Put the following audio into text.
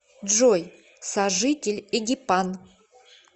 джой сожитель эгипан